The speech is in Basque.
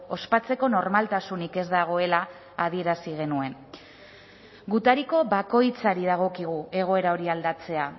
ospatzeko normaltasunik ez dagoela adierazi genuen gutariko bakoitzari dagokigu egoera hori aldatzea